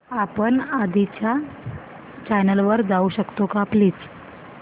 आपण आधीच्या चॅनल वर जाऊ शकतो का प्लीज